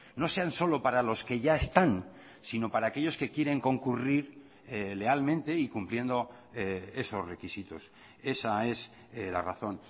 no sean solo para los que ya están sino para aquellos que quieren concurrir lealmente y cumpliendo esos requisitos esa es la razón